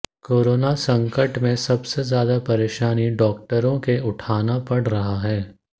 corona संकट में सबसे ज्यादा परेशानी डॉक्टरों के उठाना पड़ रहा है